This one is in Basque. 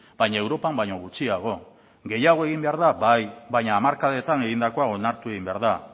baina europan baino gutxiago gehiago egin behar da bai baina hamarkadetan egindakoa onartu egin behar da